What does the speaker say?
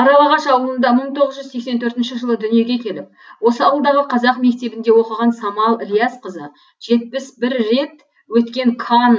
аралағаш аулында мың тоғыз жүз сексен төртінші жылы дүниеге келіп осы ауылдағы қазақ мектебінде оқыған самал ілиясқызы жетпіс бір рет өткен канн